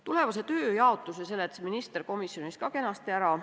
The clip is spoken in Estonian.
Tulevase tööjaotuse seletas minister komisjonis kenasti ära.